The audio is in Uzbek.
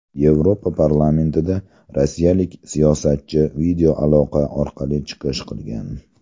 Yevropa parlamentida rossiyalik siyosatchi videoaloqa orqali chiqish qilgan.